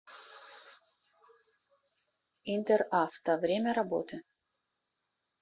интеравто время работы